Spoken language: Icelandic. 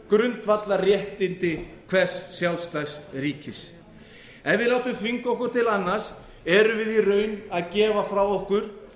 grundvallarréttindi hvers sjálfstæðs ríkis ef við látum þvinga okkur til annars erum við í raun að gefa frá okkur